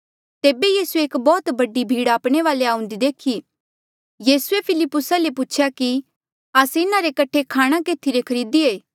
तेबे यीसूए एक बौह्त बडी भीड़ आपणे वाले आऊंदे देखी यीसूए फिलिप्पुसा ले पूछेया कि आस्से इन्हा रे कठे खाणा केथी ले खरीदिये